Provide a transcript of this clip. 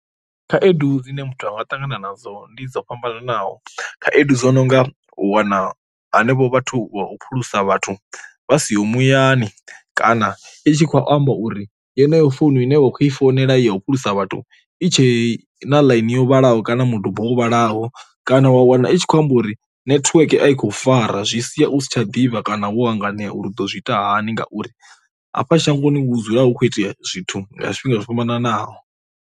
khaedu dzine muthu anga tangana nadzo ndi dzo fhambananaho, khaedu dzo nonga wana henevho vhathu vha u phulusa vhathu vha siho muyani kana i tshi khou amba uri yeneyo founu ine vha khou i founela ya u phulusavhathu i tshe na ḽaini yo vhalaho, kana miduba wo vhalaho kana wa wana i tshi khou amba uri nethiweke a i khou fara zwi sia u si tsha ḓivha kana wo hanganea uri u ḓo zwi ita hani ngauri a fha shangoni hu dzula hu kho itea zwithu zwifhinga zwo fhambananaho.